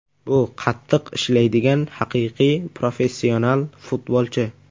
Bu qattiq ishlaydigan haqiqiy professional futbolchi.